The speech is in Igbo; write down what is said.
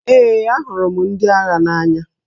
Ee, ahụrụ m ndị agha n'anya